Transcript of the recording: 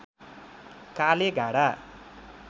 कालेगाँडा